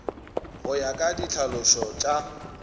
go ya ka ditlhalošo tša